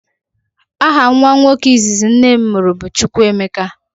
Aha nwa nwoke izizi nnem muru bu chukwuemeka.